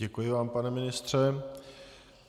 Děkuji vám, pane ministře.